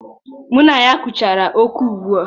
Mụ na ya gụchara oku ugbu a.